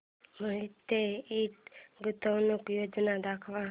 मोहिते इंड गुंतवणूक योजना दाखव